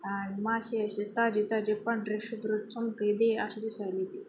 अह माशे आशे ताजे ताजे पांढरे शुभ्र आशे दिसायलेती.